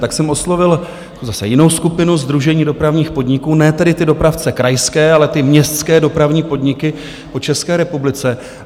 Tak jsem oslovil zase jinou skupinu, Sdružení dopravních podniků, ne tedy ty dopravce krajské, ale ty městské dopravní podniky v České republice.